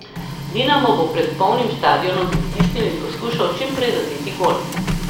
Dinamo bo pred polnim stadionom pritisnil in poskušal čim prej zadeti gol.